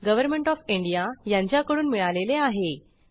government of India यांच्याकडून मिळालेले आहे